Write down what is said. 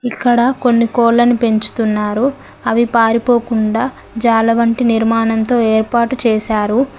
ఇక్కడ కొన్ని కోళ్లను పెంచుతున్నారు అవి పారిపోకుండా జాల వంటి నిర్మాణంతో ఏర్పాటు చేశారు.